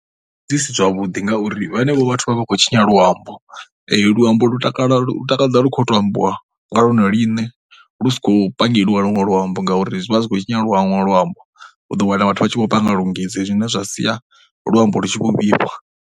Dzi si zwavhuḓi ngauri vhenevho vhathu vha vha khou tshinya luambo, luambo lu takala lu takadza lu khou tou ambiwa nga lone ḽine lu sa khou pangeliwa luṅwe luambo ngauri zwi vha zwi khou tshinya luṅwe luambo. U ḓo wana vhathu vha tshi vho panga lungise zwine zwa sia luambo lu tshi vho vhifha.